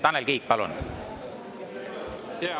Tanel Kiik, palun!